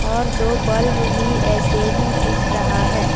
और दो बल्ब भी ऐसे ही दिख रहा है।